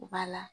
U b'a la